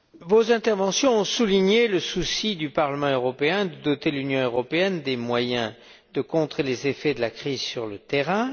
Vos interventions ont souligné le souci du Parlement européen de doter l'Union européenne des moyens de contrer les effets de la crise sur le terrain.